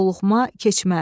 yoluxma, keçmə.